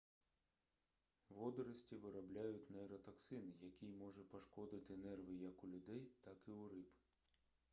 водорості виробляють нейротоксин який може пошкодити нерви як у людей так і у риб